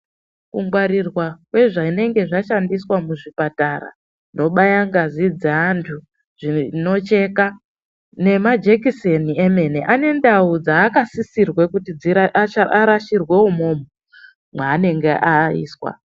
Kungwarirwa kwezvanenge zvashandiswa muzvipatara zvobaye ngazi dzeantu zvinocheka nemajekiseni emene ane ndau dzaasisirwe kuti dzira asha arashirwe umomo maenenge aiswa.